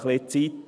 Etwas Zeit.